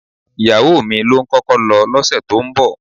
Ìyàwó mi ló ń kọ́kọ́ lọ lọ́sẹ̀ tó ń bọ̀